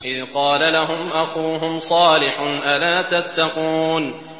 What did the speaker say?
إِذْ قَالَ لَهُمْ أَخُوهُمْ صَالِحٌ أَلَا تَتَّقُونَ